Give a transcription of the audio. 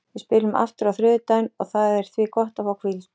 Við spilum aftur á þriðjudaginn og það er því gott að fá hvíld.